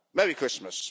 Merry Christmas!